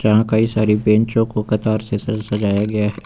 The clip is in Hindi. यहां कई सारी बैंचो को कतार से सजाया गया है।